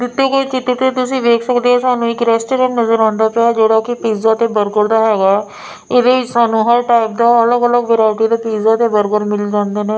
ਦਿੱਤੇ ਹੋਏ ਚਿਤ੍ਰ ਤੇ ਤੁਸੀ ਵੇਖ ਸਕਦੇ ਹੋ ਸਾਨੂੰ ਇੱਕ ਰੈਸਟੋਰੈਂਟ ਨਜਰ ਆਂਦਾ ਪਿਆ ਹੈ ਜਿਹੜਾ ਕੀ ਪਿੱਜ਼ਾ ਤੇ ਬਰਗਰ ਦਾ ਹੈਗਾ ਹੈ ਇਹਦੇ ਵਿਚ ਸਾਨੂੰ ਹਰ ਟਾਈਪ ਦਾ ਅੱਲਗ ਅਲੱਗ ਵੈਰਾਇਟੀ ਦਾ ਪਿੱਜ਼ਾ ਤੇ ਬਰਗਰ ਮਿਲ ਜਾਂਦੇ ਨੇ।